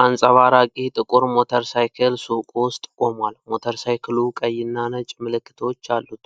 አንጸባራቂ ጥቁር ሞተርሳይክል ሱቅ ውስጥ ቆሟል። ሞተርሳይክሉ ቀይና ነጭ ምልክቶች አሉት።